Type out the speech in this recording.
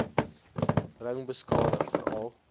ring beskadig veral